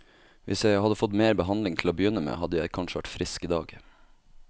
Hvis jeg hadde fått mer behandling til å begynne med, hadde jeg kanskje vært frisk i dag.